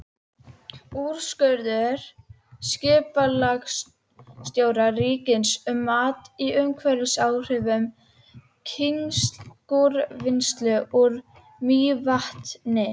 Úrskurður skipulagsstjóra ríkisins um mat á umhverfisáhrifum kísilgúrvinnslu úr Mývatni.